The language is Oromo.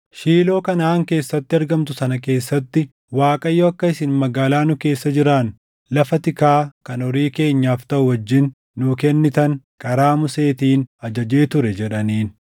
Shiiloo Kanaʼaan keessatti argamtu sana keessatti, “ Waaqayyo akka isin magaalaa nu keessa jiraannu lafa tikaa kan horii keenyaaf taʼu wajjin nuu kennitan karaa Museetiin ajajee ture” jedhaniin.